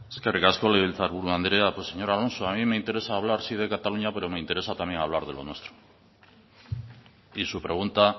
eskerrik asko legebiltzarburu andrea pues señor alonso a mí me interesa hablar sí de cataluña pero me interesa también hablar de lo nuestro y su pregunta